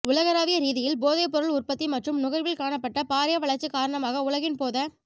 உலகலாவியரீதியில் போதைப்பொருள் உற்பத்தி மற்றும் நுகர்வில் காணப்பட்ட பாரிய வளர்ச்சி காரணமாக உலகின் போத